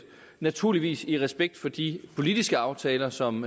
naturligvis i respekt for de politiske aftaler som